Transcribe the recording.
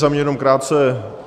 Za mě jenom krátce.